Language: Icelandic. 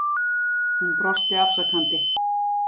Hún brosti afsakandi.